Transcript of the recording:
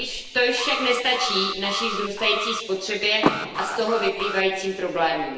To již však nestačí naší vzrůstající spotřebě a z toho vyplývajícím problémům.